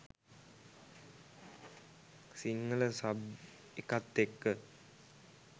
Sinhala sub එකත් එක්ක